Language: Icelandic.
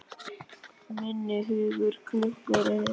Minn hugur klökkur er.